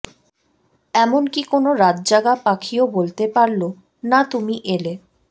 এমন কি কোনো রাতজাগা পাখিও বলতে পারলো না তুমি এলে